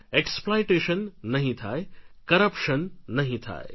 exploitation નહિ થાય corruption નહિ થાય